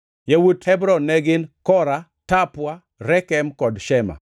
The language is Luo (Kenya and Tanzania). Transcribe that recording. Yawuot Hebron ne gin: Kora, Tapua, Rekem kod Shema.